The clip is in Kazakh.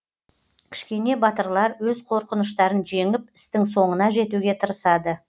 кішкене батырлар өз қорқыныштарын жеңіп істің соңына жетуге тырысады